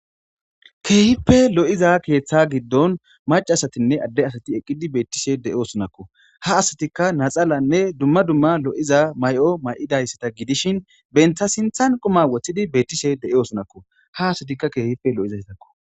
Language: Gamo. Keehipe lo'iza keeththa giddon mac asatinne adde asati eqqidi beettishe de' sunakko ha asatikka naxaalanne dumma dumma lo'iza may'o may'idayssata gidishin bentha sinthan quma woththidi beettishe de'eo snakko ha asatikka keehife lo'izastakko.